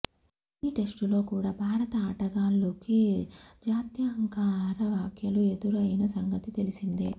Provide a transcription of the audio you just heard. Sydney టెస్టులో కూడా భారత ఆటగాళ్లుకు జాత్యహంకార వ్యాఖ్యలు ఎదురైన సంగతి తెలిసిందే